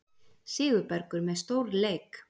Sigurbergur með stórleik